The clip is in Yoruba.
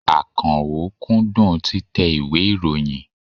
Àkànó kúndùn títẹ ìwé ìròyìn.